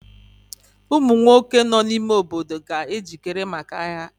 Ụmụ nwoke nọ n'ime obodo ga-ejikere maka agha.